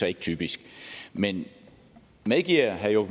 er typisk men medgiver herre